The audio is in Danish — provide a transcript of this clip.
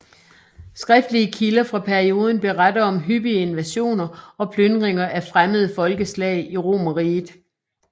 Skriftlige kilder fra perioden beretter om hyppige invasioner og plyndringer af fremmede folkeslag i Romerriget